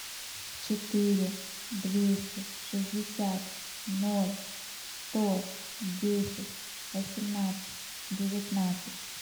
четыре двести шестьдесят ноль сто десять восемнадцать девятнадцать